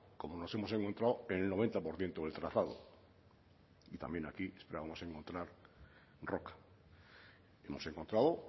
como nos hemos encontrado en el noventa por ciento del trazado y también aquí esperábamos encontrar roca hemos encontrado